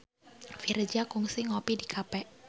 Virzha kungsi ngopi di cafe